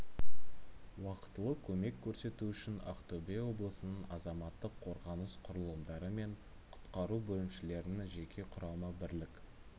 уақытылы көмек көрсету үшін ақтөбе облысының азаматтық қорғаныс құрылымдары мен құтқару бөлімшелерінің жеке құрамы бірлік